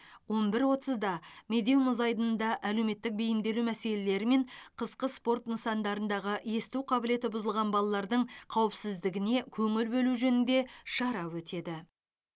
он бір отызда медеу мұз айдынында әлеуметтік бейімделу мәселелері мен қысқы спорт нысандарындағы есту қабілеті бұзылған балалардың қауіпсіздігіне көңіл бөлу жөнінде шара өтеді